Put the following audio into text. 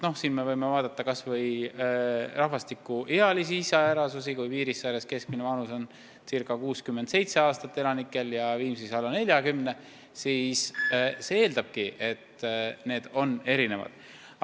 Me võime vaadata kas või rahvastiku ealisi iseärasusi: kui Piirissaares on keskmine vanus ca 67 aastat ja Viimsis alla 40, siis loomulikult on pakutavad teenused erinevad.